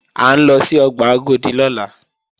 À ń lọ sí ọgbà Agodi lọ́la